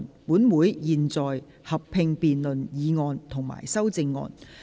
本會現在合併辯論議案及修正案。